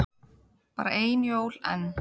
Bara ein jól enn.